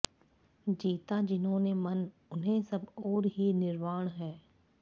जीता जिन्होंने मन उन्हें सब ओर ही निर्वाण है